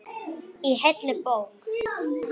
Í heilli bók.